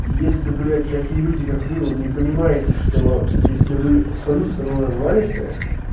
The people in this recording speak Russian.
если блядь такие люди как вы не понимаете что если вы свою страну назывались